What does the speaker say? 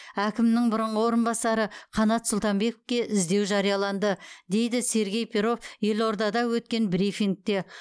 әкімнің бұрынғы орынбасары қанат сұлтанбековке іздеу жарияланды дейді сергей перов елордада өткен брифингте